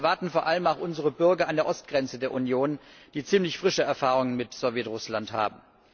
Das erwarten vor allem auch unsere Bürger an der Ostgrenze der Union, die ziemlich frische Erfahrungen mit Sowjet Russland haben.